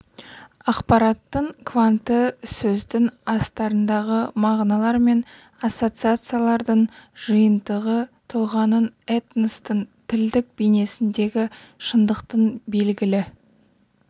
ақпараттың кванты сөздің астарындағы мағыналар мен ассоциациялардың жиынтығы тұлғаның этностың тілдік бейнесіндегі шындықтың белгілі